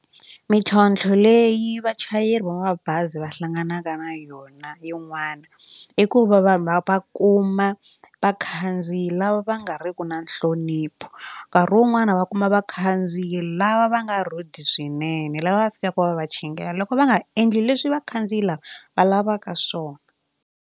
Mintlhontlho leyi vachayeri va mabazi va hlanganaka na yona yin'wana i ku va vanhu va va kuma vakhandziyi lava va nga riki na nhlonipho nkarhi wun'wani va kuma vakhandziyi lava va nga rude swinene laha va fikaka va va chingela loko va nga endli leswi vakhandziyi lava va lavaka swona.